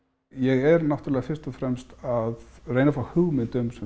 ég er náttúrulega fyrst og fremst að reyna að fá hugmynd um